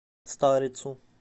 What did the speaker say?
старицу